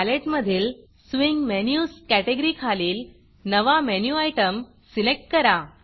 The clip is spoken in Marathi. पॅलेटमधील स्विंग Menusस्विंग मेनुस कॅटॅगरी खालील नवा मेनू Itemमेनु आइटम सिलेक्ट करा